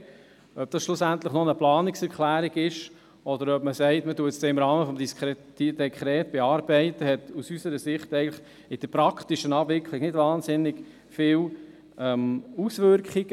Ob dies schlussendlich noch eine Planungserklärung ist, oder ob man sagt, man werde es im Rahmen des Dekrets bearbeiten, hat aus unserer Sicht in der praktischen Abwicklung eigentlich nicht wahnsinnig viele Auswirkungen.